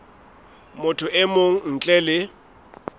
motho e mong ntle le